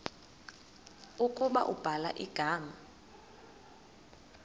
ukuba ubhala igama